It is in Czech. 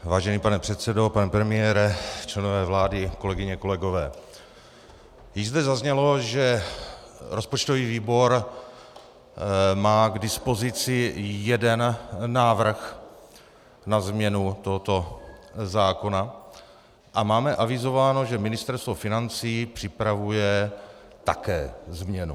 Vážený pane předsedo, pane premiére, členové vlády, kolegyně, kolegové, již zde zaznělo, že rozpočtový výbor má k dispozici jeden návrh na změnu tohoto zákona, a máme avizováno, že Ministerstvo financí připravuje také změnu.